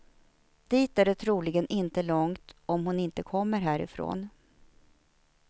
Dit är det troligen inte långt om hon inte kommer härifrån.